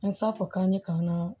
An sako k'an ye k'an ka